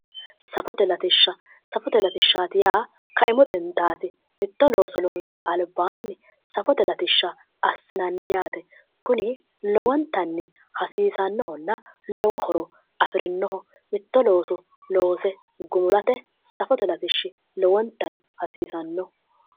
Safote latishsha, Safote latishshaati yaa kaimu xintaati mitto looso loonsara albaanni safote latishsha assinanni yaate kuni lowontanni hasiisannohonna lowo horo afirinnoho, mitto looso loose gumulate safote latishshi lowontayi hasiisanno.